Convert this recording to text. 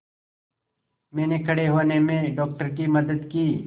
मैंने खड़े होने में डॉक्टर की मदद की